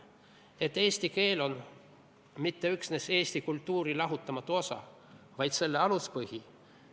Et eesti keel pole mitte üksnes eesti kultuuri lahutamatu osa, vaid selle aluspõhi.